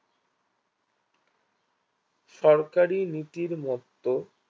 সরকারি নীতির মত্ত